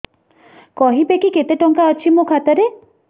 କହିବେକି କେତେ ଟଙ୍କା ଅଛି ମୋ ଖାତା ରେ